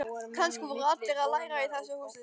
Kannski voru allir að læra í þessu húsi.